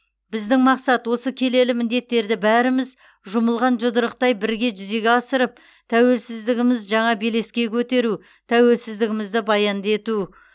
біздің мақсат осы келелі міндеттерді бәріміз жұмылған жұдырықтай бірге жүзеге асырып тәуелсіздігіміз жаңа белеске көтеру тәуелсіздігімізді баянды ету